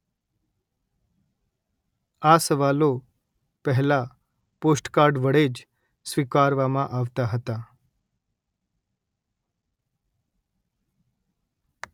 આ સવાલો પહેલાં પૉસ્ટકાર્ડ વડે જ સ્વીકારવામાં આવતાં હતા